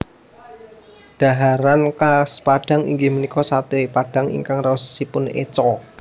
Dhaharan khas Padang inggih menika sate padang ingkang raosipun eco